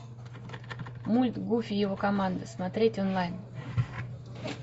мульт гуфи и его команда смотреть онлайн